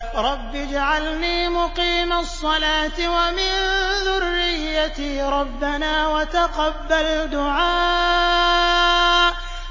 رَبِّ اجْعَلْنِي مُقِيمَ الصَّلَاةِ وَمِن ذُرِّيَّتِي ۚ رَبَّنَا وَتَقَبَّلْ دُعَاءِ